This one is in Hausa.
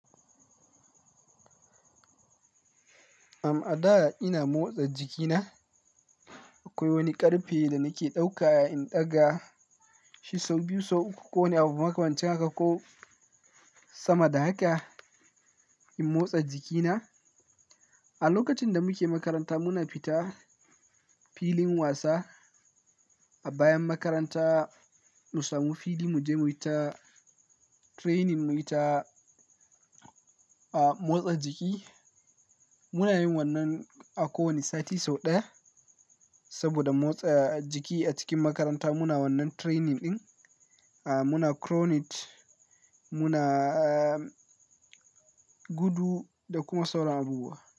Am, a da ina motsa jikina. Akwai wani ƙarfe da nake ɗauka in ɗaga sau biyu, sau uku ko wani abu makwancin haka ko sama da haka, in motsa jikina. A lokacin da muke makaranta muna fita filin wasa. A bayan makaranta, mu samu fili mu je mu yi ta training, mu yi ta, ah, motsa jiki. Muna yin wannan a kowane sati sau ɗaya. Saboda motsa jiki a cikin makaranta muna wannan training ɗin. Ah, muna cronit, muna, ah, gudu da kuma sauran abubuwa.